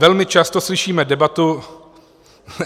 Velmi často slyšíme debatu...